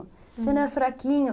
Ele era fraquinho.